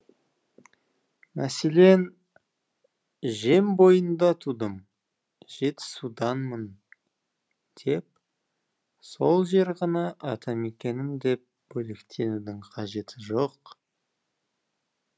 мәселен жем бойында тудым жетісуданмын деп сол жер ғана атамекенім деп бөлектенудің қажеті жоқ